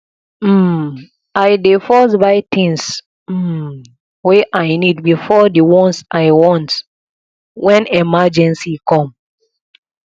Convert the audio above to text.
um i dey first buy tins um wey i need before di ones i want wen emergency com